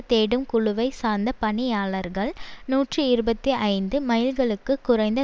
தேடும் குழுவை சார்ந்த பணியாளர்கள் நூற்றி இருபத்தி ஐந்து மைல்களுக்கு குறைந்த